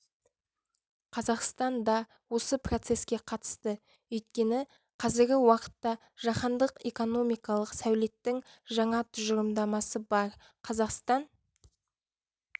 қазақстан да осы процеске қатысты өйткені қазіргі уақытта жаһандық экономикалық сәулеттің жаңа тұжырымдамасы бар қазақстан